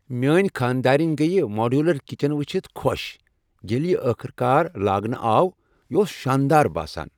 میٲنۍ خانہ دارِنۍ گٔیہ ماڈیولر کچن وچھتھ خوش ییٚلہ یہ ٲخٕر کار لاگنہٕ آو۔ یہ اوس شاندار باسان۔